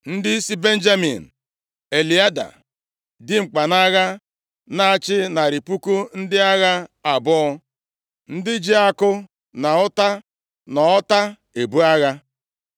Ndị si Benjamin, Eliada, dimkpa nʼagha, na-achị narị puku ndị agha abụọ (200,000), ndị ji akụ na ụta, na ọta ebu agha.